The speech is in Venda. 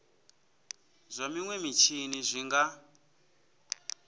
zwa minwe mitshini zwi nga